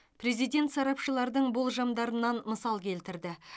президент сарапшылардың болжамдарынан мысал келтірді